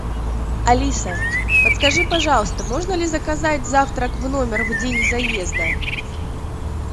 алиса подскажи пожалуйста можно ли заказать завтрак в номер в день заезда